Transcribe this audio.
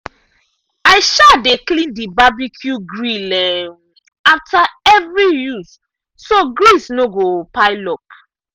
i um dey clean the barbecue grill um after every use so grease no go pile up.